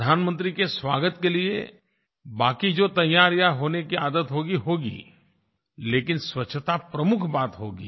प्रधानमंत्री के स्वागत के लिए बाकी जो तैयारियाँ होने की आदत होगीहोगी लेकिन स्वच्छता प्रमुख बात होगी